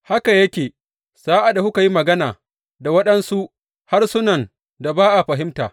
Haka yake sa’ad da kuka yi magana da waɗansu harsunan da ba a fahimta.